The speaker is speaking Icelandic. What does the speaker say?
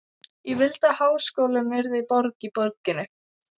Ég vildi að háskólinn yrði borg í borginni.